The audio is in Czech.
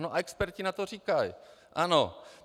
A experti na to říkají ano.